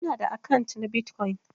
Ina da akant na Bitcoin.